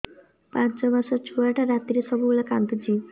ପାଞ୍ଚ ମାସ ଛୁଆଟା ରାତିରେ ସବୁବେଳେ କାନ୍ଦୁଚି